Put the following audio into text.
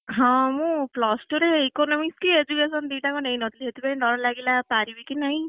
ହଁ ମୁଁ plus two ରେ Economics କି education ଦିଟା ନେଇନ ଥିଲି ସେଥିପାଇଁ ଡ଼ର ଲାଗିଲା ପାରିବି କି ନାହିଁ!